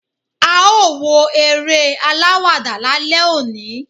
a o wo eré alawada lálẹ oní